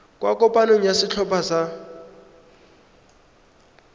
kwa kopanong ya setlhopha sa